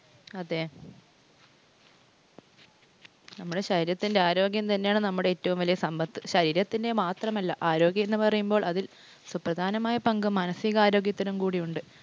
അതേ നമ്മുടെ ശരീരത്തിൻ്റെ ആരോഗ്യം തന്നെയാണ് നമ്മുടെ ഏറ്റവും വല്യ സമ്പത്ത്. ശരീരത്തിൻ്റെ മാത്രമല്ല, ആരോഗ്യം എന്ന് പറയുമ്പോൾ അതിൽ സുപ്രധാനമായ പങ്ക് മനസികാരോഗ്യത്തിനുകൂടി ഉണ്ട്.